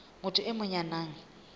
motho e mong ya nang